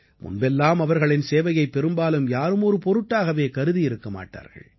முன்பெல்லாம் அவர்களின் சேவையை பெரும்பாலும் யாரும் ஒரு பொருட்டாகவே கருதியிருக்க மாட்டார்கள்